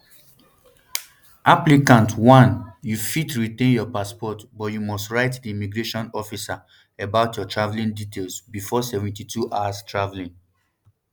applicant one you fit retain your passport but you must write di immigration officer about your travelling details befor seventy-two hours travelling